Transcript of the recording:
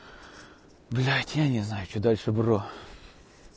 блять я не знаю что дальше бро